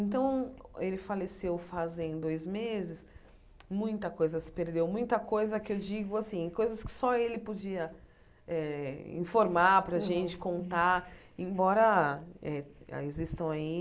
Então, ele faleceu fazem dois meses, muita coisa se perdeu, muita coisa que eu digo assim, coisas que só ele podia eh informar para gente, contar, embora eh existam aí.